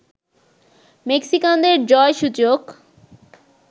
মেক্সিকানদের জয়সূচক